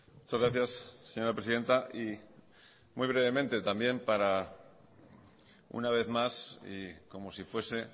muchas gracias señora presidenta y muy brevemente también para una vez más y como si fuese